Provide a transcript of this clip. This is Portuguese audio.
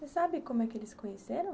Você sabe como é que eles se conheceram?